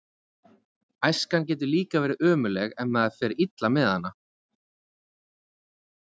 Æskan getur líka verið ömurleg ef maður fer illa með hana.